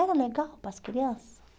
Era legal para as crianças?